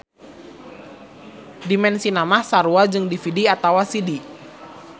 Dimensina mah sarua jeung DVD atawa CD.